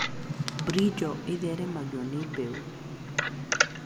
Brinjal ĩtheremagio na mbeũ.